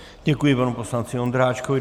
Děkuji panu poslanci Ondráčkovi.